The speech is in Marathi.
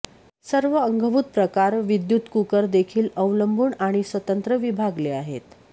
सर्व अंगभूत प्रकार विद्युत कुकर देखील अवलंबून आणि स्वतंत्र विभागले आहेत